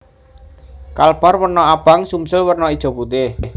Kalbar werna abang Sumsel werna ijo putih